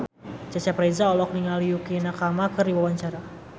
Cecep Reza olohok ningali Yukie Nakama keur diwawancara